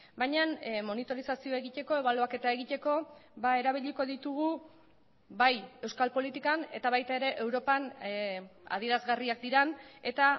baina monitorizazioa egiteko ebaluaketa egiteko erabiliko ditugu bai euskal politikan eta baita ere europan adierazgarriak diren eta